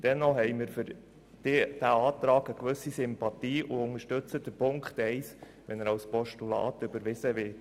Dennoch haben wir für diese Ziffer eine gewisse Sympathie, wenn sie als Postulat überwiesen wird.